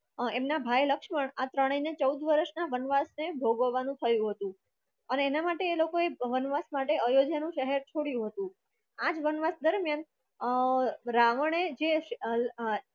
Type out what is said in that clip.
એમના ભાઈ લક્ષ્મણ ચૌદ વરસના ભોગવવાનું થયું હતું એના માટે એ લોકોએ વનવાસ માટે અયોધ્યા નું શહેર છોડ્યું હતું આજ વનવાસ દરમિયાન અ રાવણ એ જે